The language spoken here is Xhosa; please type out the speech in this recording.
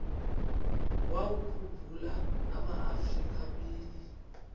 wawakhumbul amaafrika mini